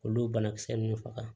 Olu banakisɛ ninnu faga